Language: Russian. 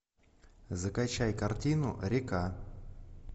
закачай картину река